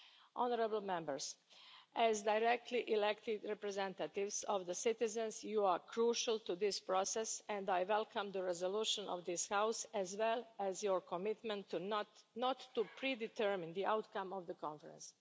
Honourable Members, as directly elected representatives of the citizens, you are crucial to this process, and I welcome the resolution of this House, as well as your commitment not to pre determine the outcome of the Conference.